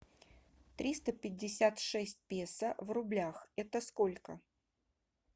триста пятьдесят шесть песо в рублях это сколько